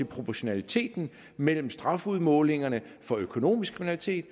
proportionaliteten mellem strafudmålingerne for økonomisk kriminalitet